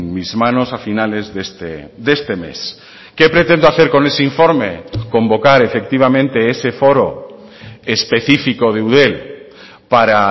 mis manos a finales de este mes qué pretendo hacer con ese informe convocar efectivamente ese foro específico de eudel para